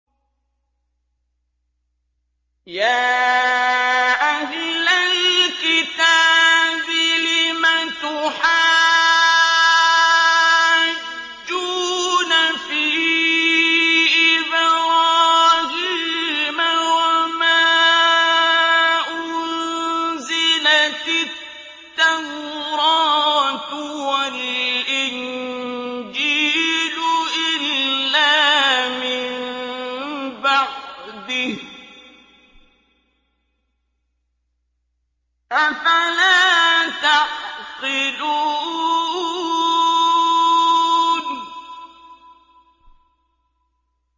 يَا أَهْلَ الْكِتَابِ لِمَ تُحَاجُّونَ فِي إِبْرَاهِيمَ وَمَا أُنزِلَتِ التَّوْرَاةُ وَالْإِنجِيلُ إِلَّا مِن بَعْدِهِ ۚ أَفَلَا تَعْقِلُونَ